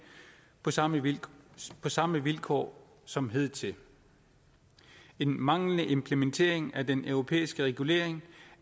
på samme vilkår samme vilkår som hidtil en manglende implementering af den europæiske regulering